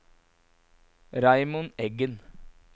Raymond Eggen